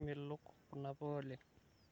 kimelok kunapuka oleng